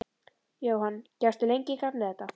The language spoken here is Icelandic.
Jóhann: Gekkstu lengi í gegnum þetta?